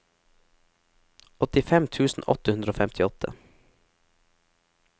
åttifem tusen åtte hundre og femtiåtte